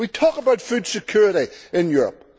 We talk about food security in Europe